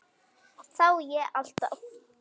Þá á ég alltaf.